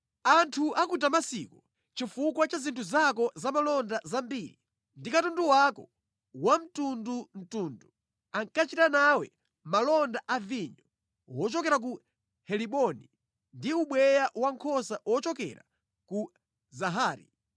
“Anthu a ku Damasiko, chifukwa cha zinthu zako za malonda zambiri ndi katundu wako wosiyanasiyana, ankachita nawe malonda a vinyo wochokera ku Heliboni ndi ubweya wankhosa ochokera ku Zahari.